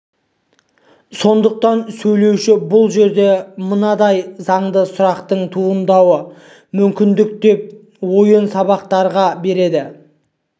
сондықтан сөйлеуші бұл жерде мынадай заңды сұрақтың туындауы мүмкін деп ойын сабақтастыра береді